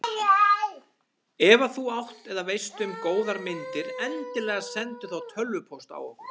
Ef að þú átt eða veist um góðar myndir endilega sendu þá tölvupóst á okkur.